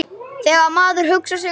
Þegar maður hugsar sig um.